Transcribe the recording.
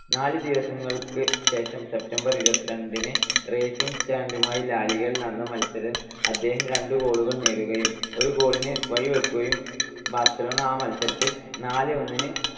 നാല് ദിവസങ്ങൾക്ക് ശേഷം, September ഇരുപത്തിരണ്ടിന് റേസിംഗ് സന്റാന്ററുമായി ലാലിഗയിൽ നടന്ന മത്സരത്തിൽ അദ്ദേഹം രണ്ട് goal കൾ നേടുകയും ഒരു goal ന് വഴിവെക്കുകയും ബാർസലോണ ആ മത്സരം നാല് - ഒന്നിന്